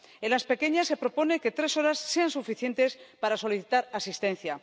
En las pequeñas se propone que tres horas sean suficientes para solicitar asistencia.